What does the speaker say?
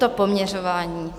To poměřování...